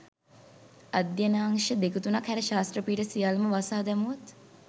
අධ්‍යනාංශ දෙක තුනක් හැර ශාස්ත්‍ර පීඨ සියල්ලම වසා දැමුවොත්